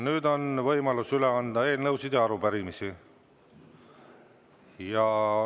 Nüüd on võimalus üle anda eelnõusid ja arupärimisi.